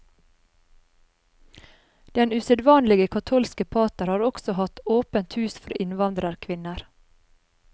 Den usedvanlige katolske pater har også hatt åpent hus for innvandrerkvinner.